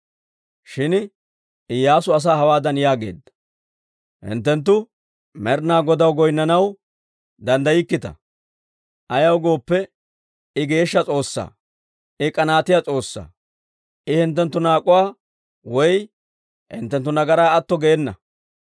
Shin Iyyaasu asaa hawaadan yaageedda; «Hinttenttu Med'ina Godaw goynnanaw danddaykkita. Ayaw gooppe, I geeshsha S'oossaa; I k'anaatiyaa S'oossaa; I hinttenttu naak'uwaa woy hinttenttu nagaraa atto geena.